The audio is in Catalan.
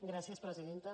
gràcies presidenta